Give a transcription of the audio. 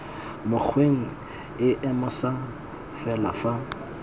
mokgweng o moša fela fa